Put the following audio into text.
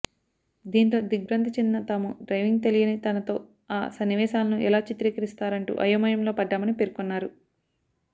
దీంతో దిగ్భ్రాంతి చెందిన తాము డ్రైవింగ్ తెలియని తనతో ఆ సన్నివేశాలను ఎలా చిత్రీకరిస్తారంటూ అయోమయంలో పడ్డామని పేర్కొన్నారు